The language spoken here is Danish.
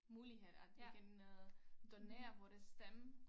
Mulighed at vi kan øh donere vores stemme